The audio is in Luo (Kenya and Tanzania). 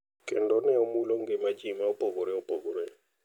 Kendo ne omulo ngima ji ma opogore opogore.